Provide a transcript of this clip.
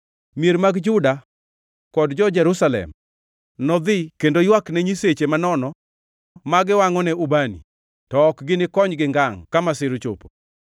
Mier mag Juda kod jo-Jerusalem nodhi kendo ywakne nyiseche manono ma giwangʼone ubani, to ok ginikonygi ngangʼ ka masira ochopo.